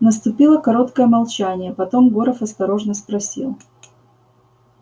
наступило короткое молчание потом горов осторожно спросил